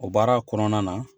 O baara kɔnɔna na